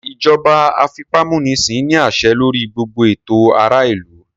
Ìjọba àfipámúnisin ní àṣẹ lórí gbogbo ètò ará ìlú